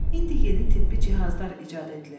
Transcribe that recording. İndi yeni tibbi cihazlar icad edilib.